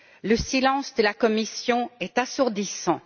Le silence de la Commission est assourdissant.